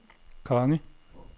konge